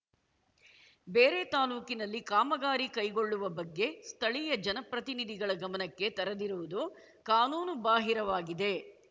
ಬೇರೆ ತಾಲೂಕಿನಲ್ಲಿ ಕಾಮಗಾರಿ ಕೈಗೊಳ್ಳುವ ಬಗ್ಗೆ ಸ್ಥಳೀಯ ಜನಪ್ರತಿನಿಧಿಗಳ ಗಮನಕ್ಕೆ ತರದಿರುವುದು ಕಾನೂನು ಬಾಹಿರವಾಗಿದೆ